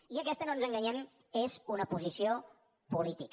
i aquesta no ens enganyem és una posició política